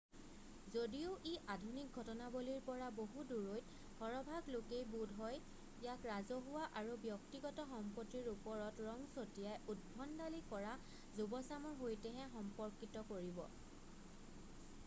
যদিও ই আধুনিক ঘটনাৱলীৰ পৰা বহু দূৰৈত সৰহভাগ লোকেই বোধহয় ইয়াক ৰাজহুৱা আৰু ব্যক্তিগত সম্পত্তিৰ ওপৰত ৰং ছটিয়াই উদ্ভণ্ডালি কৰা যুৱচামৰ সৈতেহে সম্পৰ্কিত কৰিব